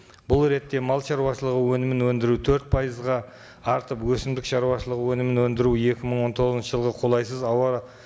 бұл ретте мал шаруашылығы өнімін өндіру төрт пайызға артып өсімдік шаруашылығы өнімін өндіру екі мың он тоғызыншы жылғы қолайсыз ауа